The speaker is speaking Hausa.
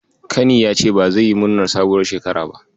Kani ya ce ba zai yi murnar sabuwar shekara ba.